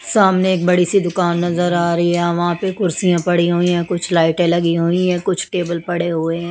सामने एक बड़ी सी दुकान नज़र आ रही है वहां पे कुर्सियाँ पड़ी हुई हैं कुछ लाइटें लगी हुई हैं कुछ टेबल पड़े हुए हैं।